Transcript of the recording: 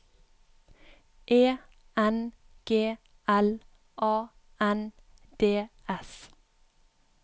E N G L A N D S